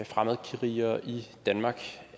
fremmedkrigere i danmark